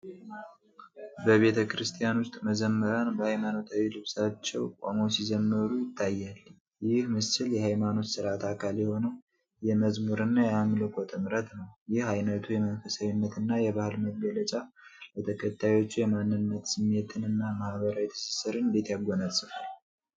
በቤተ ክርስቲያን ውስጥ መዘምራን በሃይማኖታዊ ልብሳቸው ቆመው ሲዘምሩ ይታያል። ይህ ምስል የሃይማኖት ሥርዓት አካል የሆነው የመዝሙር እና የአምልኮ ጥምረት ነው። ይህ ዓይነቱ የመንፈሳዊነት እና የባህል መገለጫ ለተከታዮቹ የማንነት ስሜትን እና ማህበራዊ ትስስርን እንዴት ያጎናጽፋል?